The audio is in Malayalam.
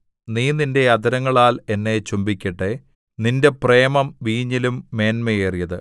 നീ നീന്റെ അധരങ്ങളാൽ എന്നെ ചുംബിക്കട്ടെ നിന്റെ പ്രേമം വീഞ്ഞിലും മേന്മയേറിയത്